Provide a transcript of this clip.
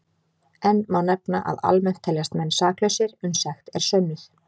Enn má nefna að almennt teljast menn saklausir uns sekt er sönnuð.